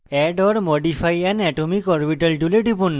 add or modify an atomic orbital tool টিপুন